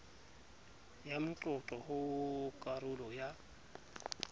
ya moqoqo ho karolo ya